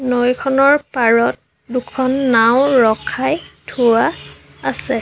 নৈখনৰ পাৰত দুখন নাওঁ ৰখাই থোৱা আছে।